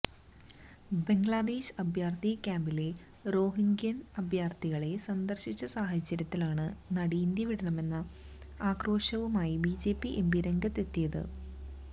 ബംഗ്ലാദേശ് അഭയാര്ത്ഥി ക്യാമ്പിലെ റോഹിംഗ്യന് അഭയാര്ത്ഥികളെ സന്ദര്ശിച്ച സാഹചര്യത്തിലാണ് നടി ഇന്ത്യ വിടണമെന്ന ആക്രോശവുമായി ബിജെപി എംപി രംഗത്തെത്തിയത്